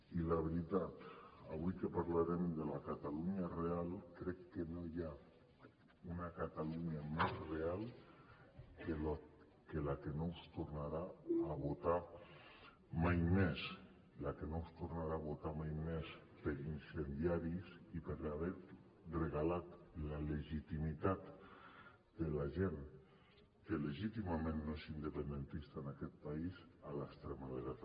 i la veritat avui que parlarem de la catalunya real crec que no hi ha una catalunya més real que la que no us tornarà a votar mai més la que no us tornarà a votar mai més per incendiaris i per haver regalat la legitimitat de la gent que legítimament no és independentista en aquest país a l’extrema dreta